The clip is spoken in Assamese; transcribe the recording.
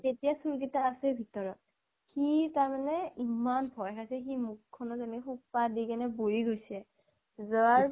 তেতিয়া চুৰ গিটা আছেই ভিতৰত। সি তাৰ মানে ইমান ভয় খাইছে, সি মুখ খনত এনেকে সোপা দি কেনে বহি গৈছে। যোৱাৰ